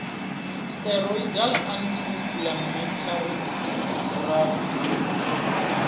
steroidal anti inflammatory drugs na